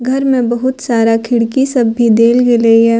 घर में बहुत सारा खिड़की सब भी देल गेलई हे।